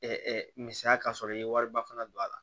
misaliya ka sɔrɔ i ye wariba fana don a la